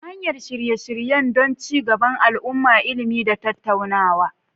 ta hanyar shirye-shirye don ci gaban al'umma, ilimi, da tattaunawa.